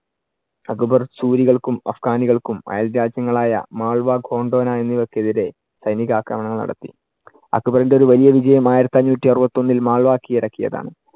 അക്ബർ സുരികൾക്കും അഫ്ഘാനികൾക്കും അയൽ രാജ്യങ്ങൾ ആയ മാൾവ ഖോണ്ടൊന്ന എന്നിവക്ക് എതിരെ സൈനീക ആക്രമണം നടത്തി. അക്ബറിന്‍റെ ഒരു വലിയ വിജയം ആയിരത്തി അഞ്ഞൂറ്റി അറുപത്തിയൊന്നിൽ മാൾവ കിഴടക്കിയതാണ്.